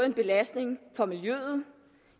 en belastning for miljøet